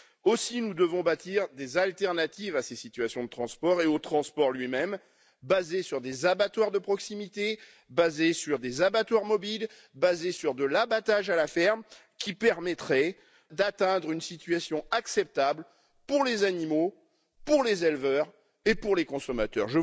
Aussi, nous devons bâtir des alternatives à ces situations de transport et au transport lui même, basées sur des abattoirs de proximité, basées sur des abattoirs mobiles, basées sur de l'abattage à la ferme, qui permettraient d'atteindre une situation acceptable pour les animaux, pour les éleveurs et pour les consommateurs.